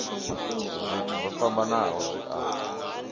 zwithu zwo fhambanaho zwi a